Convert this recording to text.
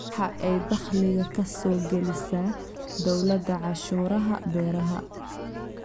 Waxa ay dakhliga ka soo gelisaa dawladda cashuuraha beeraha.